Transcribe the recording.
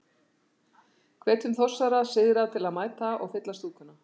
Hvetjum Þórsara syðra til að mæta og. fylla stúkuna?